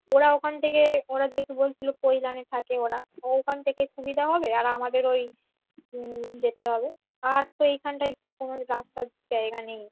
ওরা ওখান থেকে ওরা যেহেতু বলছিল পৈলানে থাকে ওরা ওর ওখান থেকে সুবিধা হবে আর আমাদের ওই হম যেতে হবে আর তো এইখানটায় কোন রাস্তার জায়গা নেই